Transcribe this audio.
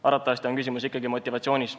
Arvatavasti on küsimus ikkagi motivatsioonis.